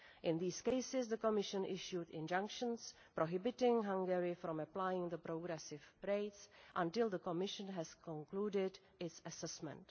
In these cases the Commission issued injunctions, prohibiting Hungary from applying the progressive rates until the Commission has concluded its assessment.